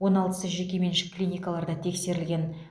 он алтысы жекеменшік клиникаларда тексерілген